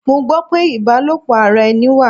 Mo gbó pé ibalopo ara ẹni wà.